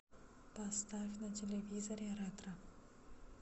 поставь на телевизоре ретро